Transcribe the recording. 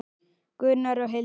Gunnar og Hildur.